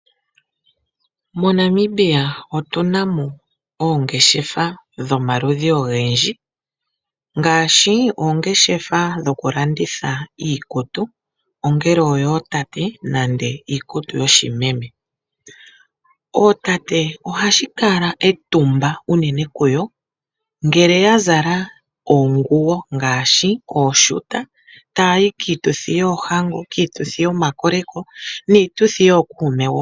MoNamibia otuna mo oongeshefa dhomaludhi ogendji ngaashi oongeshefa dhokulanditha iikutu ongele oyootate nenge iikutu yoshimeme. Ootate ohashi kala etumba unene kuyo ngele ya zala oonguwo ngaashi ooshuta taya yi kiituthi yoohango, komakoleko niituthi yookuume woo.